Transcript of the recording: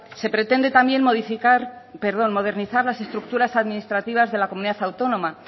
se pretende también modernizar las estructuras administrativas de comunidad autónoma